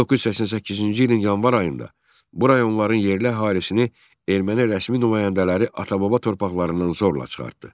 1988-ci ilin yanvar ayında bu rayonların yerli əhalisini erməni rəsmi nümayəndələri ata-baba torpaqlarından zorla çıxartdı.